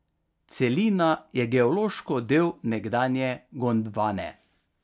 Celina je geološko del nekdanje Gondvane.